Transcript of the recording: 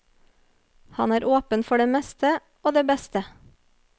Han er åpen for det meste og det beste.